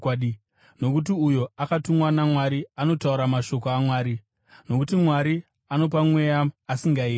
Nokuti uyo akatumwa naMwari anotaura mashoko aMwari, nokuti Mwari anopa Mweya asingayeri.